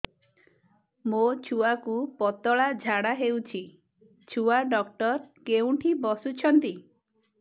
ମୋ ଛୁଆକୁ ପତଳା ଝାଡ଼ା ହେଉଛି ଛୁଆ ଡକ୍ଟର କେଉଁଠି ବସୁଛନ୍ତି